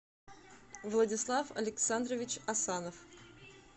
владислав александрович асанов